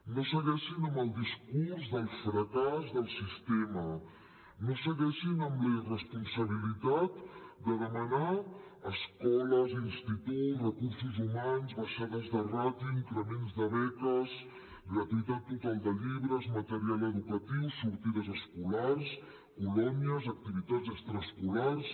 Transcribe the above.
no segueixin amb el discurs del fracàs del sistema no segueixin amb la irresponsabilitat de demanar escoles instituts recursos humans baixades de ràtios increments de beques gratuïtat total de llibres material educatiu sortides escolars colònies activitats extraescolars